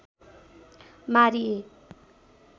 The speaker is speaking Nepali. मारिए।